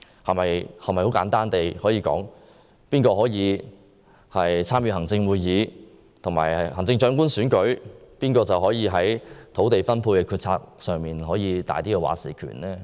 我們是否可以簡單地說，誰能加入行政會議和參與行政長官選舉，誰便能在土地分配的決策上有較大"話事權"？